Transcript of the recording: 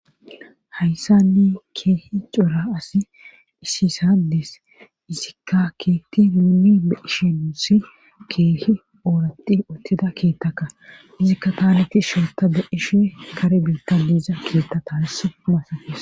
Hayssanni keehi cora asi hisisadees izikka keetti nuuni eishinsi keehi ooratti uttida keettaka izikka taaleti sholta de ishe kare biitta liiza keettataas masaes